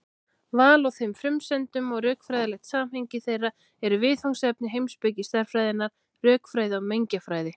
Val á þeim frumsendum og rökfræðilegt samhengi þeirra eru viðfangsefni heimspeki stærðfræðinnar, rökfræði og mengjafræði.